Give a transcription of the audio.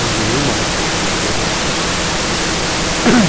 Hoje eu amo a natureza de paixão.